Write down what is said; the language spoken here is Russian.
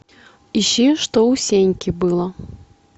ищи что у сеньки было